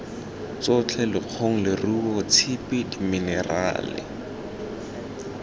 tsotlhe lekgong leruo tshipi diminerale